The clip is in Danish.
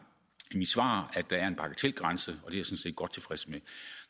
i mit svar at der er en bagatelgrænse og det er set godt tilfreds med